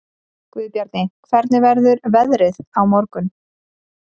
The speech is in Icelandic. Guðbjarni, hvernig verður veðrið á morgun?